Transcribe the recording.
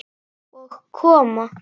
Og koma